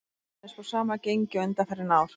Liðinu er spáð sama gengi og undanfarin ár.